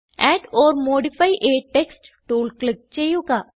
add or modify a text tool click ചെയ്യുക